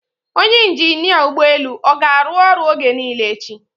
Onye injinia ụgbọ elu ọ ga-arụ ọrụ oge niile echi?